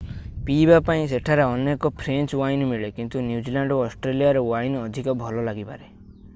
ପିଇବା ପାଇଁ ସେଠାରେ ଅନେକ ଫ୍ରେଞ୍ଚ ୱାଇନ୍ ମିଳେ କିନ୍ତୁ ନ୍ୟୁଜିଲ୍ୟାଣ୍ଡ ଏବଂ ଅଷ୍ଟ୍ରେଲିଆର ୱାଇନ୍ ଅଧିକ ଭଲ ଲାଗିପାରେ